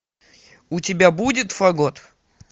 у тебя будет фагот